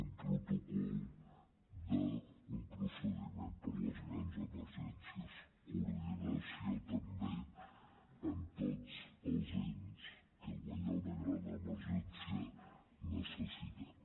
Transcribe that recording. un protocol d’un procediment per a les grans emergències coordinació també amb tots els ens que quan hi ha una gran emergència necessitem